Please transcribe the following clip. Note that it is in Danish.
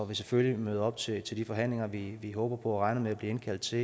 vil selvfølgelig møde op til til de forhandlinger vi vi håber på og regner med at blive indkaldt til